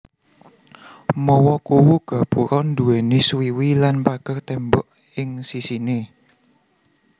Mawa kuwu gapura duwéni suwiwi lan pager tembok ing sisiné